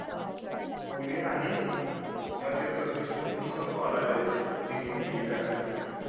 पुणे आणि मध्यप्रदेश मधून मला कॉल आले होते DCBA करण्यासाठी